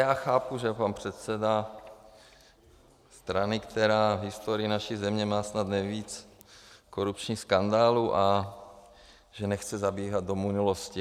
Já chápu, že pan předseda strany, která v historii naší země má snad nejvíc korupčních skandálů, že nechce zabíhat do minulosti.